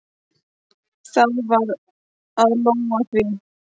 Það varð að lóga því.